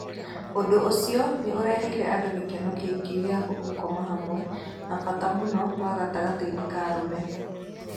Ũndũ ũcio nĩ ũreheire andũ gĩkeno kĩingi gĩa gũkoma hamwe, na bata mũno wa gatagatĩinĩ ka arũme.